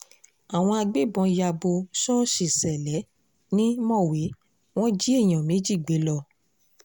àwọn agbébọn ya bò ṣọ́ọ̀ṣì ṣẹlẹ̀ ni mọ̀wé wọn jí èèyàn méjì gbé lọ